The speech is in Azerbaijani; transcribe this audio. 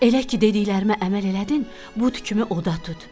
Elə ki dediklərimə əməl elədin, but kimi od ət tut.